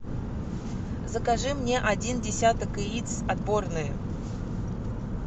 закажи мне один десяток яиц отборные